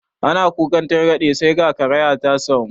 Ana kukan targaɗe sai ka kariya ta samu